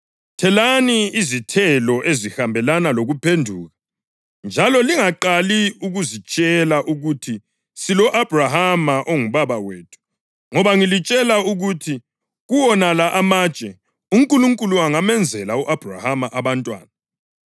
Thelani izithelo ezihambelana lokuphenduka. Njalo lingaqali ukuzitshela ukuthi, ‘Silo-Abhrahama ongubaba wethu.’ Ngoba ngilitshela ukuthi kuwonala amatshe uNkulunkulu angamenzela u-Abhrahama abantwana.